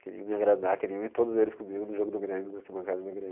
Queriam me agradar, queriam ir todos eles comigo no jogo do Grêmio, na arquibancada do Grêmio.